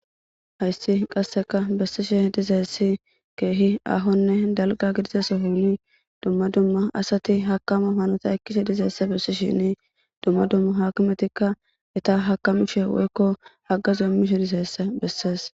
hayssi qasseka bessishe dizayssi keehi aahonne dalga gidizas honi dumma dumma asati hakama hanota ekkise dizeysse bessishini dumma dumma hakimetikka eta hakamishe woykko hagazummishe dizeyessa bessees